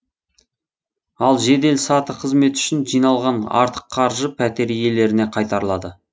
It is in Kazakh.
ал жедел саты қызметі үшін жиналған артық қаржы пәтер иелеріне қайтарылады